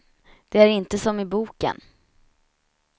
De är inte som i boken.